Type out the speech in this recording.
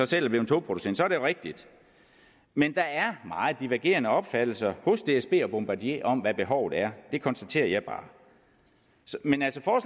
selv er blevet togproducent så er det jo rigtigt men der er meget divergerende opfattelser hos dsb og bombardier om hvad behovet er det konstaterer jeg bare men altså